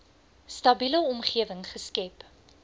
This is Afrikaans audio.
stabiele omgewing geskep